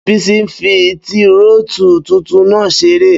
Bísí n fi tírótù tuntun náà seré